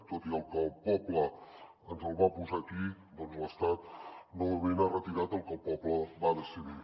tot i que el poble ens el va posar aquí l’estat novament ha retirat el que el poble va decidir